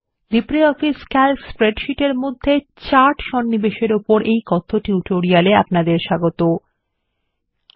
LibreOffice Calc স্প্রেডশীটের মধ্যে charts সন্নিবেশ এর ওপর এই কথ্য টিউটোরিয়াল এ আপনাদের স্বাগতো